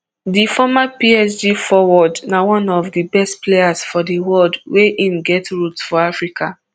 di former psg forward na one of di best players for di world wia im get roots for africa